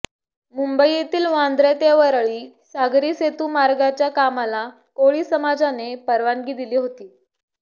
मुंबईतील वांद्रे ते वरळी सागरी सेतू मार्गाच्या कामाला कोळी समाजाने परवानगी दिली होती